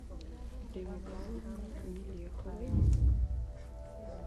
риммы павловны мелеховой